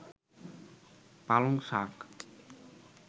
পালংশাক